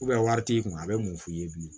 wari t'i kun a bɛ mun f'i ye bilen